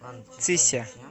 цися